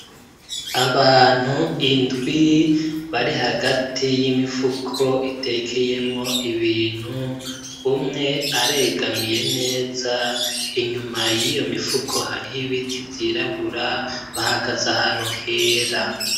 Abantu indwi bari hagati y'imifuko itekeyemwo ibintu umwe aregamiye neza inyuma yiyo mifuko hariyo ibiti vyirabura bahagaze ahantu hera.